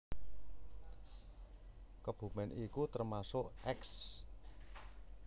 Kebumen iku termasuk eks